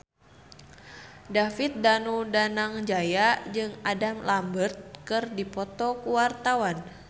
David Danu Danangjaya jeung Adam Lambert keur dipoto ku wartawan